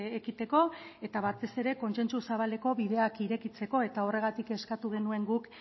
ekiteko eta batez ere kontsentsu zabaleko bideak irekitzeko eta horregatik eskatu genuen guk